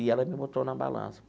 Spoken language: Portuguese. E ela me botou na balança.